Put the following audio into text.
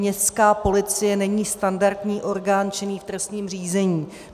Městská policie není standardní orgán činný v trestním řízení.